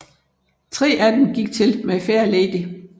Tre af dem gik til My Fair Lady